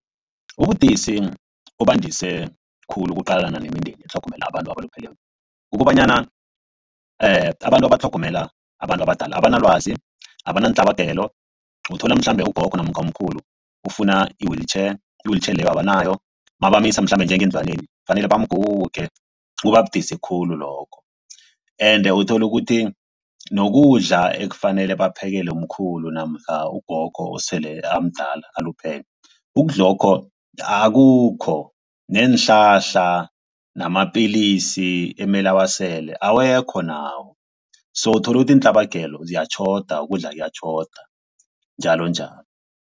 Ubudisi obandise khulu ukuqalana nemindeni etlhogomela abantu abalupheleko. Kukobanyana abantu abatlhogomela abantu abadala abanalwazi, abanantlabagelo. Uthola mhlambe ugogo namkha umkhulu ufuna i-wheelchair, i-wheelchair leyo abanayo mabamisa mhlambe njengendlwaneni kufanele bamguge kubabudisi khulu lokho. Ende uthola ukuthi nokudla ekufanele baphekela umkhulu namkha ugogo osele amdala aluphele ukudlakho akukho neenhlahla namapilisi emele awasele awekho nawo. So uthola ukuthi iintlabagelo ziyatjhoda ukudla kuyatjhoda njalonjalo.